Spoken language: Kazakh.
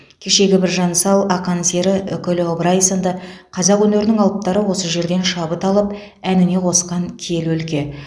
кешегі біржан сал ақан сері үкілі ыбырай сынды қазақ өнерінің алыптары осы жерден шабыт алып әніне қосқан киелі өлке